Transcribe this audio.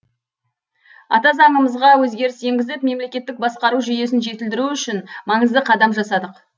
ата заңымызға өзгеріс енгізіп мемлекеттік басқару жүйесін жетілдіру үшін маңызды қадам жасадық